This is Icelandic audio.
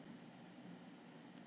Hann teygði sig í myndina.